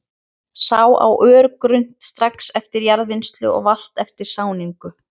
Sá á örgrunnt, strax eftir jarðvinnslu og valta eftir sáningu.